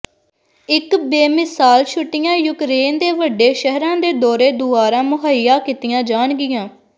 ਇੱਕ ਬੇਮਿਸਾਲ ਛੁੱਟੀਆਂ ਯੂਕਰੇਨ ਦੇ ਵੱਡੇ ਸ਼ਹਿਰਾਂ ਦੇ ਦੌਰੇ ਦੁਆਰਾ ਮੁਹੱਈਆ ਕੀਤੀਆਂ ਜਾਣਗੀਆਂ